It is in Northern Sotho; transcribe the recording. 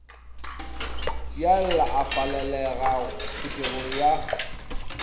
dialla a falalelago phuthegong ya